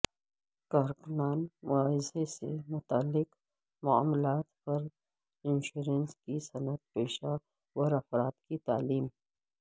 کارکنان معاوضہ سے متعلق معاملات پر انشورنس کی صنعت پیشہ ور افراد کی تعلیم